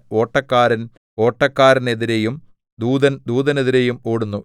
ഓട്ടക്കാരൻ ഓട്ടക്കാരനെതിരെയും ദൂതൻ ദൂതനെതിരെയും ഓടുന്നു